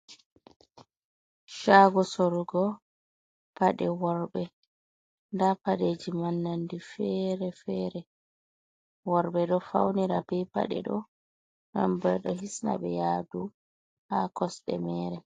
Shago sorugo paɗe worbe. Nda paɗeji ma nonde fere-fere. Worɓe ɗo faunira be paɗe ɗo, nden bo ɗo hisna ɓe yadu ɓe kosde mere.